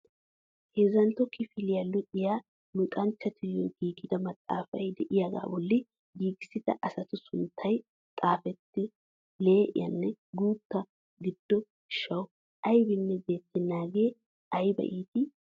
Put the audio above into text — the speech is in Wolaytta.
Hezzantto kifiliyaa luxiyaa luxanchchatuyoo giigida maxaafay de'iyaagaa bolli giigissida asatu sunttay xifatee lee'enne guutta gido gishshawu aybanne beetennagee ayba iitii!